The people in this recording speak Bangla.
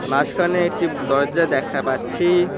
মাঝখানে একটি দরজা দেখা পাচ্ছি।